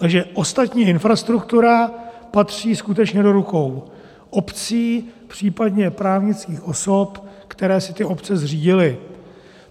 Takže ostatní infrastruktura patří skutečně do rukou obcí, případně právnických osob, které si ty obce zřídily.